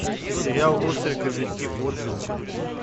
сериал острые козырьки отзывы